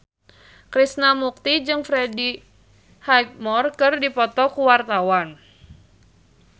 Krishna Mukti jeung Freddie Highmore keur dipoto ku wartawan